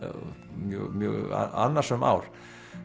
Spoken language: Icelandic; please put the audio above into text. mjög mjög annasöm ár